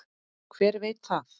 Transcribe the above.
Hver veit það?